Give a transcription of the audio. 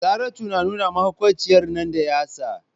Saratu na nuna mahaukaciyar nan da yatsa.